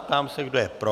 Ptám se, kdo je pro.